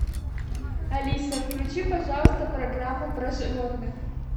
алиса включи пожалуйста программу про животных